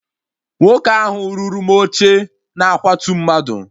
Nwoke ahụ rụrụ m oche na akwatu mmadụ